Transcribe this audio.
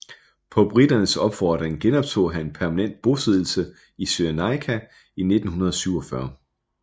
På briternes opfordring genoptog han permanent bosiddelse i Cyrenaika i 1947